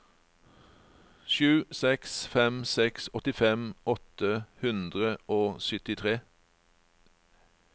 sju seks fem seks åttifem åtte hundre og syttitre